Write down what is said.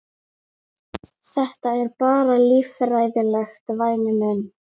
Þetta er bara líffræðilegt, væni minn.